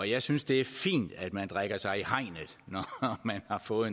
jeg synes det er fint at man drikker sig i hegnet når man har fået